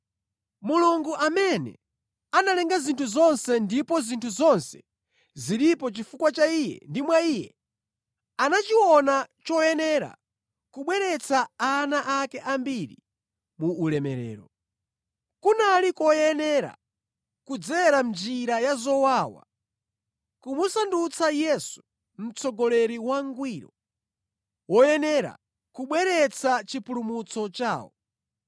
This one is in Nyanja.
Mulungu amene analenga zinthu zonse ndipo zinthu zonse zilipo chifukwa cha Iye ndi mwa Iye, anachiona choyenera kubweretsa ana ake ambiri mu ulemerero. Kunali koyenera kudzera mʼnjira ya zowawa, kumusandutsa Yesu mtsogoleri wangwiro, woyenera kubweretsa chipulumutso chawo.